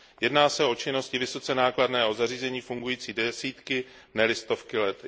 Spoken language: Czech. Jedná se o činnosti vysoce nákladné a o zařízení fungující desítky, ne li stovky let.